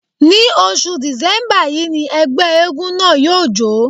Ní oṣù Dìsẹ́mbà yí ni ẹgbẹ́ éégún náà yóò jó.